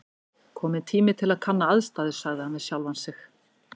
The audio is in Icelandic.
Kominn tími til að kanna aðstæður sagði hann við sjálfan sig.